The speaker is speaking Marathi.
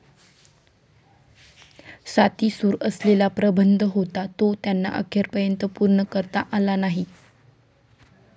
साती सूर असलेला प्रबंध होता, तो त्यांना अखेरपर्यंत पूर्ण करता आला नाही.